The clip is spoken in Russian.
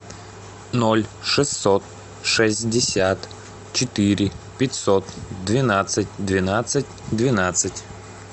ноль шестьсот шестьдесят четыре пятьсот двенадцать двенадцать двенадцать